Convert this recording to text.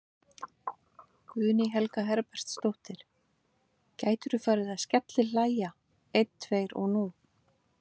Guðný Helga Herbertsdóttir: Gætirðu farið að skellihlæja einn tveir og nú?